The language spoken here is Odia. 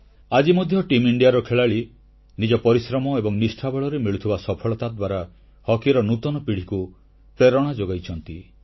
ଆଜି ମଧ୍ୟ ଭାରତୀୟ ଦଳର ଖେଳାଳି ନିଜ ପରିଶ୍ରମ ଏବଂ ନିଷ୍ଠା ବଳରେ ମିଳୁଥିବା ସଫଳତା ଦ୍ୱାରା ହକିର ନୂତନ ପିଢ଼ିକୁ ପ୍ରେରଣା ଯୋଗାଉଛନ୍ତି